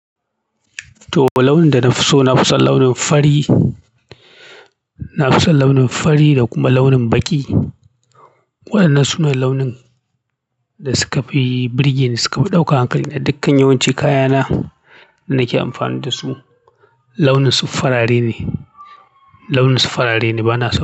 To fa launin da na fi so, na fi son launin fari. Na fi son launin fari da kuma launin baƙi. Waƴannan su ne launin da suka fi burgeni, suka fi ɗaukan hankali na. Dukkan yawanci kaya na da nake amfani da su launinsu farare ne. Launinsu farare ne, bana so.